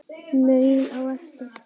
Maul á eftir.